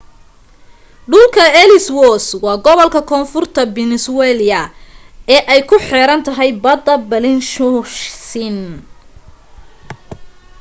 dhulka ellswoth waa gobolka koonfurta peninsuala ee ay ku xeerantahay badda bellingshausen